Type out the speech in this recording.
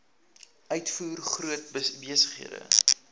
uitvoer groot besighede